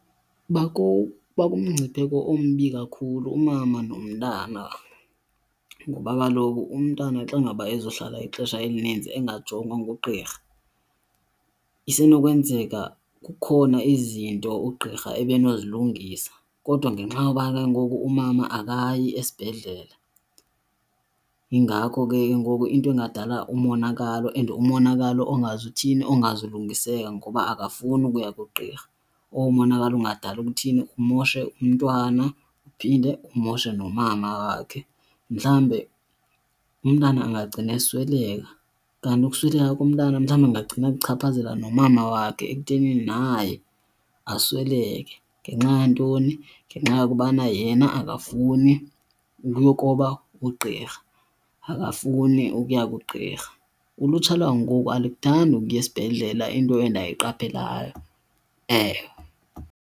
Bakumngcipheko ombi kakhulu umama nomntana ngoba kaloku umntana xa ngaba ezohlala ixesha elininzi engajongwa ngugqirha isenokwenzeka kukhona izinto ugqirha ebenozilungisa. Kodwa ngenxa yoba ke ngoku umama akayi esibhedlele yingako ke ngoku into kungadala umonakalo. And umonakalo ongazuthini? Ongazulungiseka ngoba akafuni ukuya kugqirha, owo monakalo ungadala ukuthini umoshe umntwana uphinde umoshe nomama wakhe. Mhlawumbe umntana angagcina esweleka, kanti ukusweleka komntana mhlawumbi ukungagcina kuchaphazela nomama wakhe ekuthenini naye asweleke. Ngenxa yantoni? Ngenxa yokubana yena akafuni ukuyokroba ugqirha, akafuni ukuya kugqirha. Ulutsha lwangoku alikuthandi ukuya esibhedlela into endiyiqapheleyo, ewe.